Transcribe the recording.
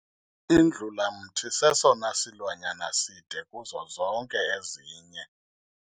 Indlulamthi sesona silwanyana side kuzo zonke ezinye.